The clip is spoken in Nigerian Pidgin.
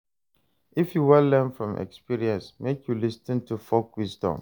If you wan learn from experience, make you lis ten to folk wisdom.